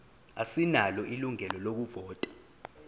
asinalo ilungelo lokuvota